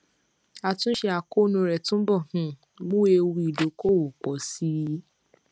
àtúnṣe àkóónú rẹ túbọ um mú ewu ìdókòòwò pọ sí i